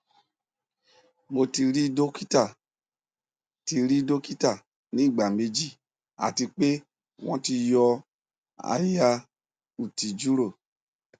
mo ti ri dokita ti ri dokita ni igba meji ati pe wọn ti yọ aya uti juro